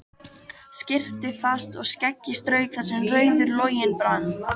Skyrpti fast og skeggið strauk þar sem rauður loginn brann.